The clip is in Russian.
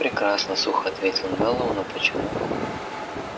прекрасно сухо ответил мэллоу но почему